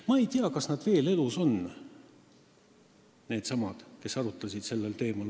Ma ei tea, kas needsamad, kes sellel teemal arutlesid, on veel elus.